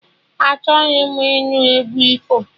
Achọghị m ịnụ egwu ifo!